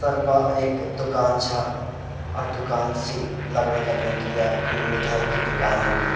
तरपा एक दुकान छा और दुकान से लगणा लगयूं की या कोई मिठाई की दुकान होलि।